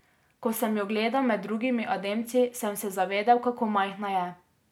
Ko sem jo gledal med drugimi Ademci, sem se zavedel, kako majhna je.